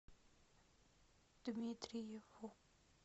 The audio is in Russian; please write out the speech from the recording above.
дмитриеву